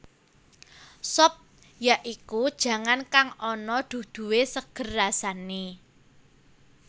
Sop ya iku jangan kang ana duduhé seger rasané